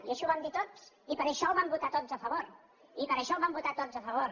i així ho vam dir tots i per això hi vam votar tots a favor i per això hi vam votar tots a favor